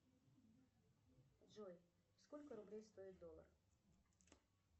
джой сколько рублей стоит доллар